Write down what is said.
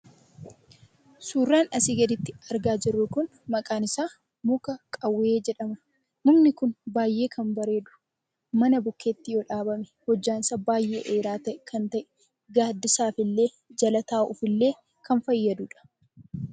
Suuraan asii gaditti argaa jirru kun muka qawwee jedhama. Mukni kun baay'ee kan bareedu mana bukkeetti yoo dhaabame hojjan isaa baay'ee dheeraa kan ta'e; gaaddisaaf illee jala taa'uuf illee kan fayyadudha.